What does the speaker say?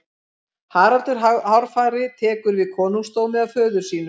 Haraldur hárfagri tekur við konungdómi af föður sínum.